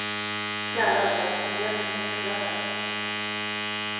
Kära vän, ge mig nycklarna.